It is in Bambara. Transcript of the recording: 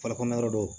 Falikɔnɔ yɔrɔ do